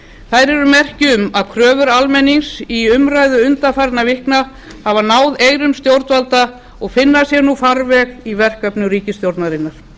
þær eru merki um að kröfur almennings í umræðu undanfarinna vikna hafi náð eyrum stjórnvalda og finni sér nú farveg í verkefnum ríkisstjórnarinnar